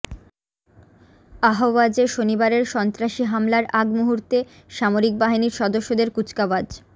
আহওয়াজে শনিবারের সন্ত্রাসী হামলার আগ মুহূর্তে সামরিক বাহিনীর সদস্যদের কুচকাওয়াজ